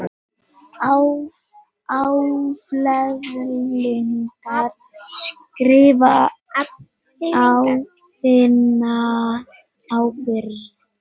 Afleiðingarnar skrifast á þína ábyrgð.